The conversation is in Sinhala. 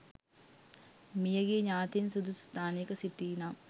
මියගිය ඥාතීන් සුදුසු ස්ථානයක සිටීනම්